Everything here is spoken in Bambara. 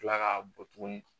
Kila k'a bɔ tuguni